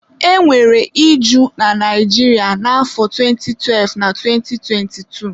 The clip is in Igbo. e nwere iju na Naijiria na afọ 2012 na 2022